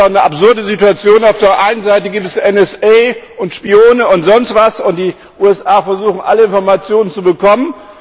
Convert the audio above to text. Es ist doch eine absurde Situation Auf der einen Seite gibt es NSA, Spione und sonst was, und die USA versuchen, alle Informationen zu bekommen.